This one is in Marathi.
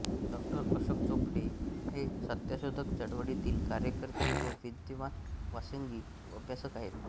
डॉ अशोक चोपडे हे सत्यशोधक चळवळीतील कार्यकर्ते व विद्यमान व्यासंगी अभ्यासक आहेत